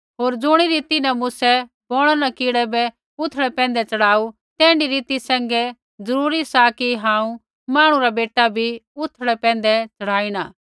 होर ज़ुणी रीति न मूसै बौणा न कीड़ै साँपा बै उथड़ै पैंधै च़ढ़ाऊ तैण्ढी रीति सैंघै जरूरी सा कि हांऊँ मांहणु रा बेटा भी उथड़ै पैंधै चड़ाईणा